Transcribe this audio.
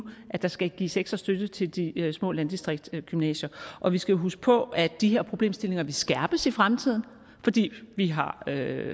at der skal gives ekstra støtte til de små landdistriktsgymnasier og vi skal huske på at de her problemstillinger vil skærpes i fremtiden fordi vi har